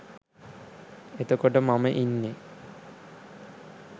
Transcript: එතකොට මම ඉන්නෙ